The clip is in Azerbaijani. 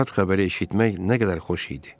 Bu şad xəbəri eşitmək nə qədər xoş idi.